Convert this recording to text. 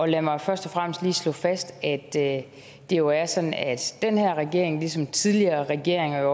lad mig først og fremmest lige slå fast at det jo er sådan at den her regering ligesom tidligere regeringer